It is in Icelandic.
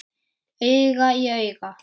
Auga í auga.